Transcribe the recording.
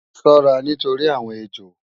Ṣọ́ra nítorí àwọn ejò!